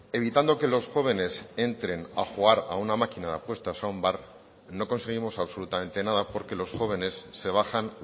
evitando que los jóvenes entren a jugar a una máquina de apuestas a un bar no conseguimos absolutamente nada porque los jóvenes se bajan